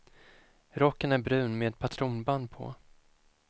Rocken är brun med patronband på.